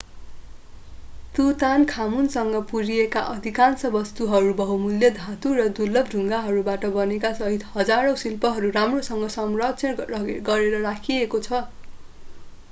तुतानखामुनसँग पुरिएका अधिकांश वस्तुहरू बहुमूल्य धातु र दुर्लभ ढुङ्गाहरूबाट बनेकासहित हजारौं शिल्पहरू राम्रोसँग संरक्षण गरेर राखिएको छ